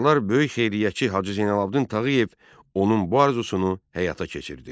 Sonralar böyük xeyriyyətçi Hacı Zeynalabdin Tağıyev onun bu arzusunu həyata keçirdi.